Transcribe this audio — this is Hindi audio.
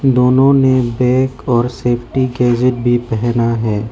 दोनों ने बैग और सेफ्टी गैजेट भी पहना है।